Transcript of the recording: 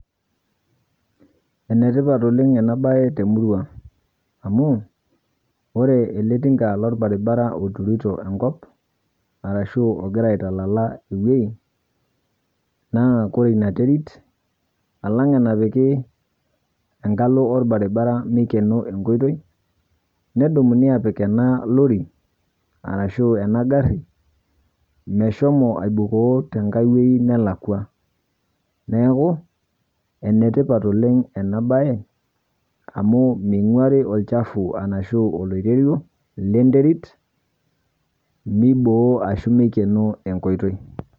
Enetipat oleng' ena baye temurua amu ore ele tinga lolbaribara oturito enkop arashu ogira aitalala ewuei naa kore ina terit alang' enapiki engalo olbaribara meikeno enkoitoi nedumuni apik ena lori arashu ena garri meshomo aibukoo tenkae wuei nelakua. Neaku, enetipat oleng' enabaye amu meing'uari olchafu arashuu oloirerio lenterit meiboo ashu meikeno enkoitoi.